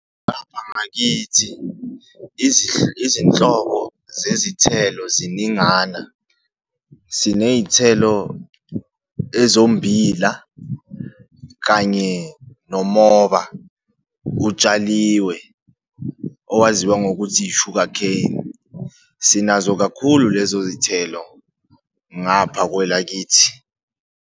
Ngapha ngakithi izinhlobo zezithelo ziningana. Siney'thelo ezombila kanye nomoba, kutshaliwe owaziwa ngokuthi i-sugercane. Sinazo kakhulu lezo zithelo ngapha kwelakithi.